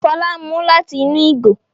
Fola ń mú lati inú ìgò